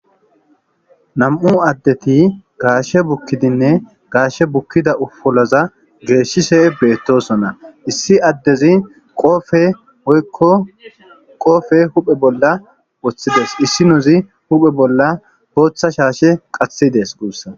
nam7u addeti gaashe bukkidinne gaashe bukkida ufoloza geeshshise beettosona issi addezi qofe hoykko qoofe huphe bolla woththides issi nozi huphe bolla booththa shaashe qathidees guussa